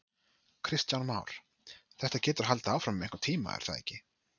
Kristján Már: Þetta getur haldið áfram um einhvern tíma er það ekki?